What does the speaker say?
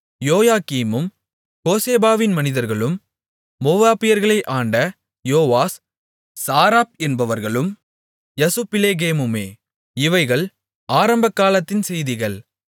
யோக்கீமும் கோசேபாவின் மனிதர்களும் மோவாபியர்களை ஆண்ட யோவாஸ் சாராப் என்பவர்களும் யசுபிலெகேமுமே இவைகள் ஆரம்பகாலத்தின் செய்திகள்